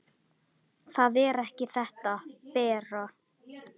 Það er ekki þetta, Bera!